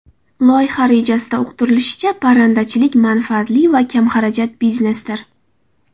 Loyiha rejasida uqtirilishicha, parrandachilik manfaatli va kamxarajat biznesdir.